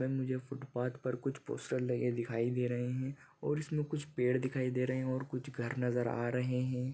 मुझे फूटपाथ पर कुछ पोस्टर लगे दिखाई दे रहे है और इसमें कुछ पेड़ दिखाई दे रहे है कुछ घर नजर आ रहे है।